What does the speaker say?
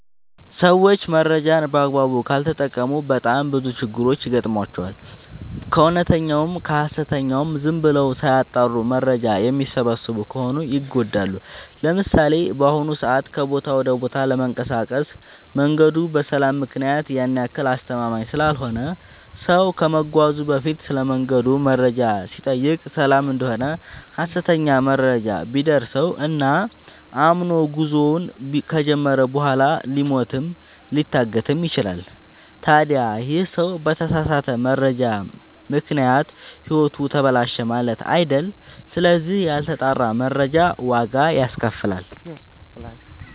ሰዎች መረጃን በአግባቡ ካልተጠቀሙ በጣም ብዙ ችግሮች ይገጥሟቸዋል። ከእውነተኛውም ከሀሰተኛውም ዝም ብለው ሳያጠሩ መረጃ የሚሰበስቡ ከሆነ ይጎዳሉ። ለምሳሌ፦ በአሁኑ ሰዓት ከቦታ ወደ ቦታ ለመንቀሳቀስ መንገዱ በሰላም ምክንያት ያን ያክል አስተማመምኝ ስላልሆነ ሰው ከመጓዙ በፊት ስለመንገዱ መረጃ ሲጠይቅ ሰላም እደሆነ ሀሰተኛ መረጃ ቢደርሰው እና አምኖ ጉዞውን ከጀመረ በኋላ ሊሞትም ሊታገትም ይችላል። ታዲ ይህ ሰው በተሳሳተ መረጃ ምክንያት ህይወቱ ተበላሸ ማለት አይደል ስለዚህ ያልተጣራ መረጃ ዋጋ ያስከፍላል።